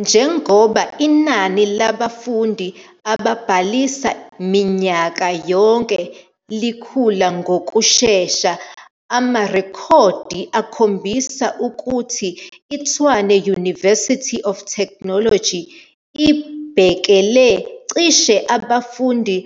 Njengoba inani labafundi ababhalisa minyaka yonke likhula ngokushesha, amarekhodi akhombisa ukuthi iTshwane University of Technology ibhekele cishe abafundi